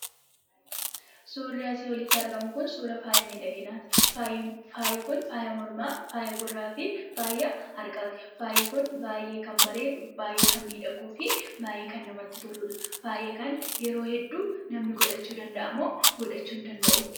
Suurri asii olitti argamu kun suura faaya miidhaginaati. Faayi kun faaya mormaa, faaya gurraa fi faaya harkaati. Faayi kun baay'ee kan bareedu, baay'ee kan miidhaguu fi baay'ee kan namatti toludha. Faaya kana yeroo hedduu namni godhachuu danda'a moo godhachuu hin danda'uu?